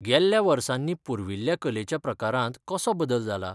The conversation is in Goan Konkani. गेल्ल्या वर्सांनी पुर्विल्ल्या कलेच्या प्रकारांत कसो बदल जाला?